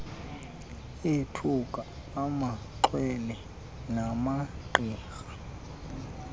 ethuka amaxhwele namagqirha